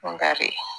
Dɔnkari